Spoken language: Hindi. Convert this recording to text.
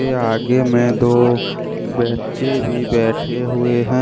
यह आगे में दो बच्चे भी बैठे हुए हैं।